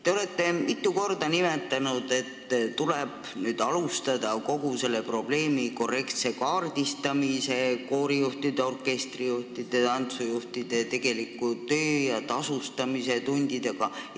Te olete mitu korda märkinud, et tuleb alustada kogu selle probleemi korrektset kaardistamist, koorijuhtide, orkestrijuhtide ja tantsujuhtide tegeliku töö tundide ja tasustamise arvestamist.